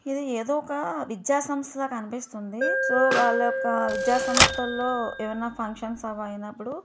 ఇది ఎదో ఒక విద్య సంస్థలా కనిపిస్తుంది. సో వాళ్ళ యొక్క విద్య సంస్థలో ఏవైనా ఫంక్షన్స్ అవి అయినప్పుడు--